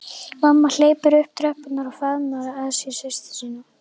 Mamma hleypur upp tröppurnar og faðmar að sér systur sína.